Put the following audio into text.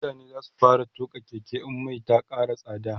mutane zasu fara tuƙa Keke in Mai Ta Kara tsada